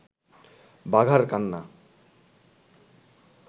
বাঘার কান্না